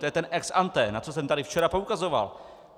To je ten ex ante, na co jsem tady včera poukazoval.